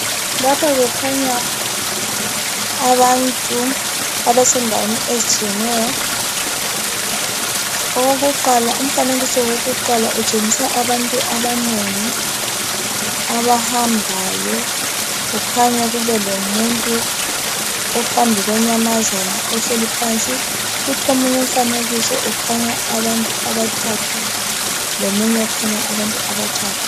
Lapha kukhanya abantu abasendaweni ezitshiyeneyo. Umfanekiso wakuqala utshengisa abantu abanengi abahambayo kukhanya kube lomuntu ophambi kwenyamazana ohleli phansi. Kuthi omunye umfanekiso ukhanya abantu abathathu lomunye okhanya abantu abathathu.